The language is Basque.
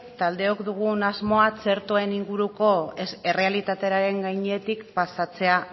taldeok dugun asmoa txertoen inguruko errealitatearen gainetik pasatzea